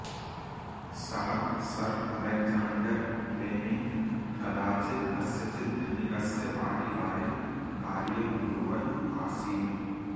सः sir Alexander Fleming कदाचित् कस्यचित् धनिकस्य वाटिकायां कार्यं कुर्वन् आसीत्